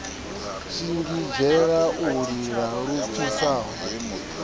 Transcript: shingizhela u lila lu pfisaho